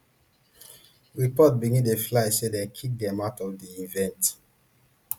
reports begin dey fly say dem kick dem out of di event